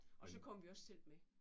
Og så kommer vi også selv med